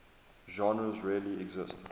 genres really exist